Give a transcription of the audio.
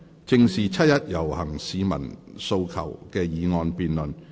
"正視七一遊行市民的訴求"的議案辯論。